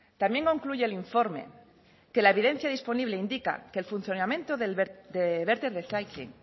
también concluye el informe que la evidencia disponible indica que el funcionamiento de verter reciclyng